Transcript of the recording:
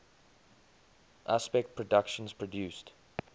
aspect productions produced